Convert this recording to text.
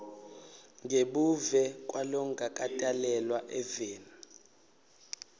ngebuve kwalongakatalelwa eveni